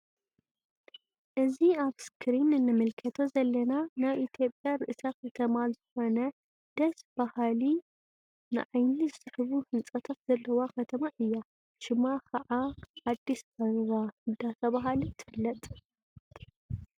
እዚ አብ እስክሪን እንምልከቶ ዘለና ናይ ኢትዮጵያ ርእሰ ከትማ ዝኮነ ደስ በሃሊ ንዓኒ ዝስሕቡ ህንፃታት ዘለዋ ከተማ እያ::ሽማ ክዓ አዲስ አበባ ዳተብሃለት ትፍለጥ::